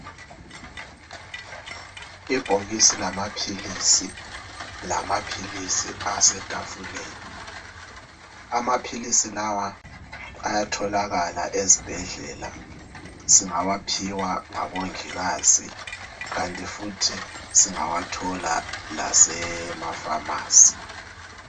ibhokisi lama philisi lamaphilisi asetafuleni amaphilisi lawa ayatholakala ezibhedlela singawaphiwa ngobongikazi kanti futhi singawathola lasema phamarcy